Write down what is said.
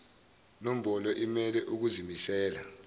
nombolo imele ukuzimisela